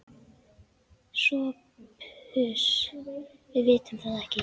SOPHUS: Við vitum það ekki.